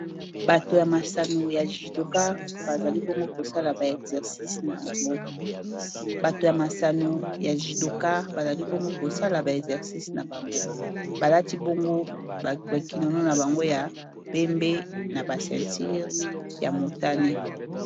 bato ya masano yjy masano ya judokar bazali bongo kosala ba exercice na bango balati bongo bakinono na bango ya pembe na basentire ya motane